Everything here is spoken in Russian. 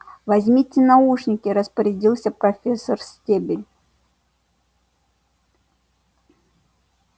возьмите наушники распорядилсь профессор стебль